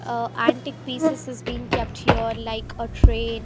ah antique pieces is been kept here like a train .